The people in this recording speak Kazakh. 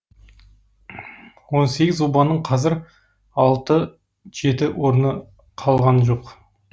он сегіз обаның қазір алты жеті орны қалған жоқ